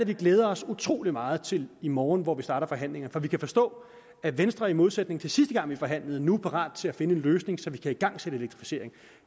vi glæder os utrolig meget til i morgen hvor vi starter forhandlingerne for vi kan forstå at venstre i modsætning til sidste gang vi forhandlede nu er parat til at finde en løsning så vi kan igangsætte elektrificeringen